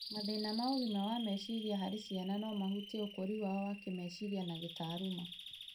Mathĩna ma ũgima wa meciria harĩ ciana no mahutie ũkũri wao wa kĩĩmeciria na kĩtaaruma.